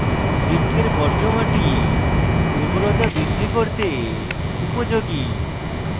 বৃক্ষের বর্জ্য মাটি উর্বরতা বৃদ্ধি করতে উপযোগী